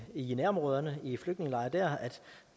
i nærområderne i flygtningelejre